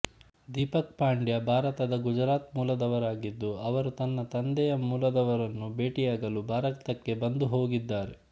ದೀಪಕ್ ಪಾಂಡ್ಯಾ ಭಾರತದ ಗುಜರಾತ್ ಮೂಲದವರಾಗಿದ್ದು ಅವರು ತನ್ನ ತಂದೆಯ ಮೂಲದವರನ್ನು ಭೇಟಿಯಾಗಲು ಭಾರತಕ್ಕೆ ಬಂದು ಹೋಗಿದ್ದಾರೆ